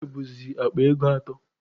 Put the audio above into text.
Fuwel bụzi akpa ego atọ.